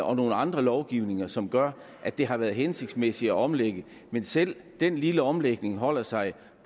og nogle andre lovgivninger som gør at det har været hensigtsmæssigt at omlægge men selv den lille omlægning holder sig